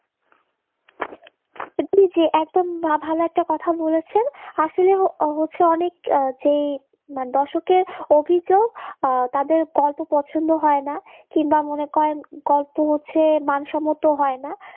আপনি যে একদম যে ভালো একটা কথা বলেছেন আসলে হচ্ছে অনেক যেই মানে দর্শকের অভিযোগ তাদের গল্প পছন্দ হয় না কিংবা মনে করেন গল্প হচ্ছে মানসম্মত হয় না